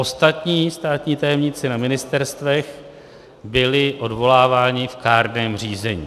Ostatní státní tajemníci na ministerstvech byli odvoláváni v kárném řízení.